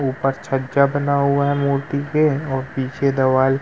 ऊपर छज्जा बना हुआ है मूर्ती के और पीछे दवाल --